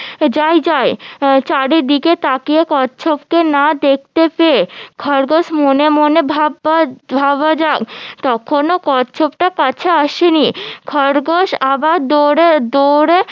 যাই যাই চারিদিকে তাকিয়ে কচ্ছপকে না দেখতে পেয়ে খরগোশ মনে মনে ভাবা ভাবা যায় তখনও কচ্ছপটা কাছে আসেনি খেগোশ আবার দৌড়ে দৌড়ে